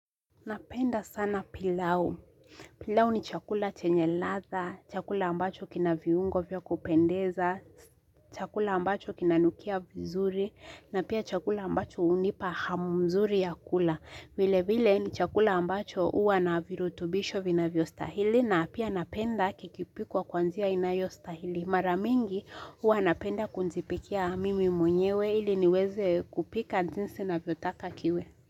Napenda sana pilau, pilau ni chakula chenye ladha, chakula ambacho kina viungo vya kupendeza, chakula ambacho kinanukia vizuri, na pia chakula ambacho unipa hamu mzuri ya kula, vile vile ni chakula ambacho uwa na virutubisho vinavyostahili, na pia napenda kikipikwa kwa nzia inayostahili, mara mingi uwa napenda kunjipikia mimi mwenyewe ili niweze kupika jinsi naviotaka kiwe.